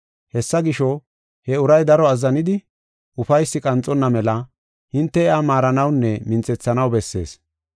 Hessa gisho, he uray daro azzanidi, ufaysi qanxonna mela hinte iya maaranawunne minthethanaw bessees.